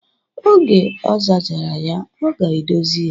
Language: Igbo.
Oge ọ zachara ya, ọ ga-edozi ya.